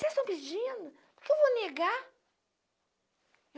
Se eles estão pedindo, por queque eu vou negar.